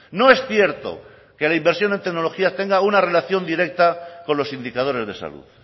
no es cierto que la inversión en tecnología tenga una relación directa con los indicadores de salud